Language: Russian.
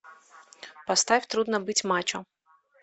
поставь трудно быть мачо